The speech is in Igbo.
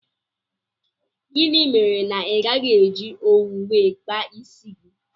Gịnị mere na igaghi eji owu wee kpaa isi gị?